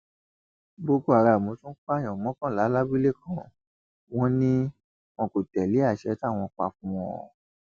boko haram tún pààyàn mọkànlá lábúlé kan wọn ni wọn kò tẹlé àsè táwọn pa fún wọn ọn